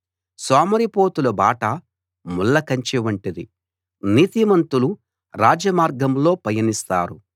సోమరిపోతుల బాట ముళ్లకంచె వంటిది నీతిమంతులు రాజమార్గంలో పయనిస్తారు